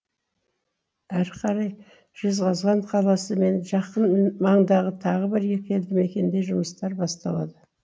әрі қарай жезқазған қаласы мен жақын маңдағы тағы бір екі елді мекенде жұмыстар басталады